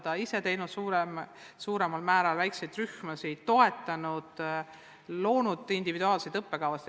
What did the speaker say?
Nad on ise teinud suuremal määral väikseid rühmasid, toetanud õpilasi sellega, et on loonud individuaalseid õppekavasid.